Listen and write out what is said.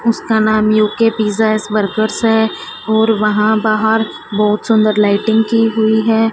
उसका नाम UK pizza is workers है और वहां बाहर बहोत सुंदर लाइटिंग की हुई है।